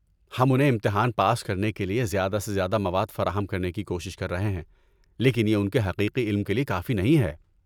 ہم انہیں امتحان پاس کرنے کے لیے زیادہ سے زیادہ مواد فراہم کرنے کی کوشش کر رہے ہیں لیکن یہ ان کے حقیقی علم کے لیے کافی نہیں ہے۔